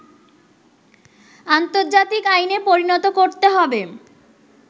আন্তর্জাতিক আইনে পরিণত করতে হবে